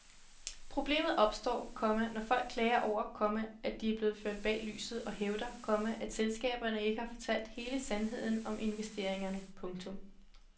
Problemet opstår, komma når folk klager over, komma at de er blevet ført bag lyset og hævder, komma at selskaberne ikke har fortalt hele sandheden om investeringerne. punktum